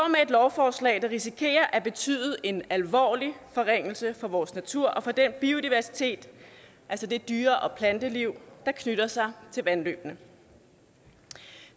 lovforslag der risikerer at betyde en alvorlig forringelse for vores natur og for den biodiversitet altså det dyre og planteliv der knytter sig til vandløbene